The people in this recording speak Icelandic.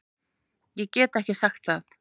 Ég get ekki sagt það